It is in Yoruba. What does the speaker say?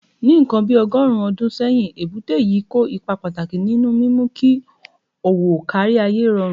Ní nǹkan bí ọgọ́rùn-ún ọdún sẹ́yìn, èbúté yìí kó ipa pàtàkì nínú mímú kí òwò kárí ayé rọrùn.